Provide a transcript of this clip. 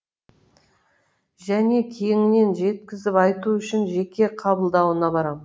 және кеңінен жеткізіп айту үшін жеке қабылдауына барам